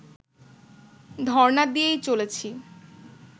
ধর্ণা দিয়েই চলেছি